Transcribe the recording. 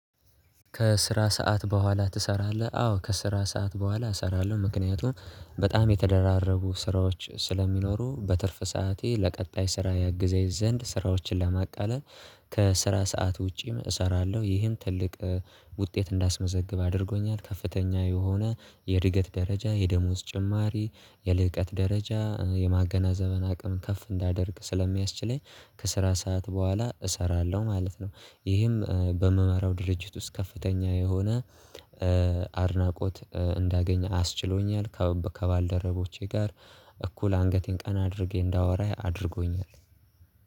ከስራ ሰዓት በኋላ ትሰራለህ? አዎ ከስራ ሰዓት በኋላ እሰራለሁ። ምክንያቱም በጣም የተደራረቡ ስራዎች ስለሚኖሩ በትርፍ ሰዓቴ ለቀጣይ ስራ ያግዘኝ ዘንድ ስራዎችን ለማቃለል ከስራ ሰዓት ውጪም እሰራለሁ። ይህን ትልቅ ውጤት እንዳስመዘግብ አድርጎኛል ከፍተኛ የሆነ የእድገት ደረጃ የደሞዝ ጭማሪ የልቀት ደረጃ የማገናዘብን አቅም ከፍ እንዳደርግ ስለሚያስችለኝ ከስራ ሰዓት በኋላ እሰራለሁ ማለት ነው። ይህም በምመራው ድርጅት ውስጥ ከፍተኛ የሆነ አድናቆት እንዳገኘ አስችሎኛል። ከባልደረቦቼ ጋር እኩል አንገቴን ቀና አድርጌ እንዳወራ አድርጎኛል